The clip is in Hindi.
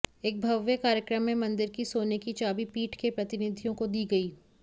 एक भव्य कार्यक्रम में मंदिर की सोने की चाबी पीठ के प्रतिनिधियों को दी गई